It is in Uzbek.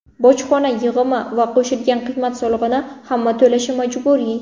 Bojxona yig‘imi va qo‘shilgan qiymat solig‘ini hamma to‘lashi majburiy.